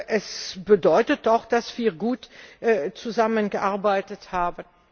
Es bedeutet doch, dass wir gut zusammengearbeitet haben.